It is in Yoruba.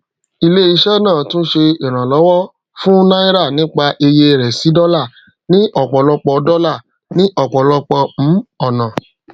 ilé iṣẹ náà túnṣe ìrànlówọ fún náírà nípa iye rẹ sí dọlà ní ọpọlọpọ dọlà ní ọpọlọpọ um ọnà